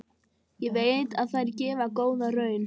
Ég veit að þær gefa góða raun.